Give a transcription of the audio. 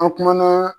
An kumana